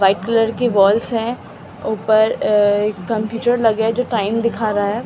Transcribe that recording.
white colour की walls है ऊपर एक कंप्यूटर लगे है जो दिखा रहा है--